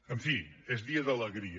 en fi és dia d’alegria